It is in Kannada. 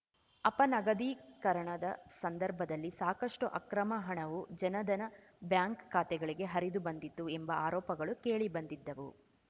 ಅಪನಗದೀಕರಣದ ಸಂದರ್ಭದಲ್ಲಿ ಸಾಕಷ್ಟುಅಕ್ರಮ ಹಣವು ಜನಧನ ಬ್ಯಾಂಕ್‌ ಖಾತೆಗಳಿಗೆ ಹರಿದು ಬಂದಿತ್ತು ಎಂಬ ಆರೋಪಗಳು ಕೇಳಿಬಂದಿದ್ದವು